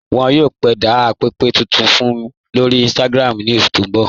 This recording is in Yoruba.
Wọn yóò kede pẹ̀pẹ̀ tuntun wọn lórí Instagram ní oṣù tí n bọ̀